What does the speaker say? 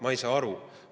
Ma ei saa aru!